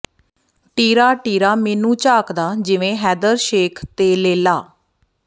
ਟੀਰਾ ਟੀਰਾ ਮੈਨੂੰ ਝਾਕਦਾ ਜਿਵੇਂ ਹੈਦਰ ਸ਼ੇਖ਼ ਤੇ ਲੇਲਾ